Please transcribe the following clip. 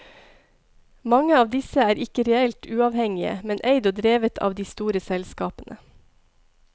Mange av disse er ikke reelt uavhengige, men eid og drevet av de store selskapene.